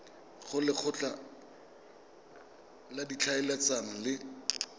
go lekgotla la ditlhaeletsano le